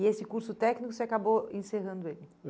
E esse curso técnico você acabou encerrando ele?